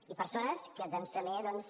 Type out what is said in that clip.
i persones que també doncs